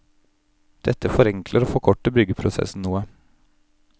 Dette forenkler og forkorter byggeprosessen noe.